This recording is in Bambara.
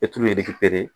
E t'u ye